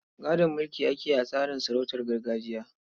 Gadon mulki ake yi a tsarin sarautun gargajiya.